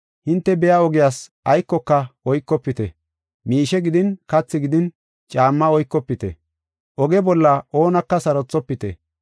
Hinte biya ogiyas aykoka oykofite, miishe gidin kathi gidin caamma oykofite. Oge bolla oonaka sarothofite.